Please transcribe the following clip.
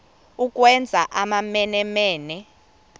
ukwenza amamene mene